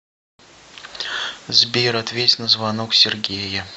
сбер ответь на звонок сергея